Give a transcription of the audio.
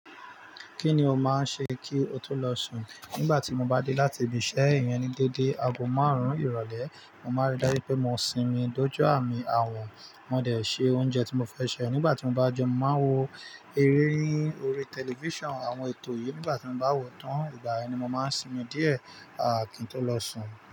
Kí ni o máa ń ṣe kí o tó lọ sùn? Nígbà tí mo bá dé láti ibi iṣẹ́ iyen ni dédé, aago márùn-ún ìrọ̀lẹ́, mo má ń rí dájú pé mo sinmi, dojú à mi, a wọ̀n. Mo de ṣe oúnjẹ tí mo fẹ́ se. Nígbà tí mo bá jẹun, mo màá n wo eré ní orí tẹlifíṣàn, àwọn ètò yìí. Nígbà tí mo bá wò tán, ìgbà yen ni mo máa ń sinmi díẹ̀, kí n tó lọ sùn.